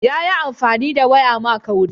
Yayi amfani da waya ma kauri.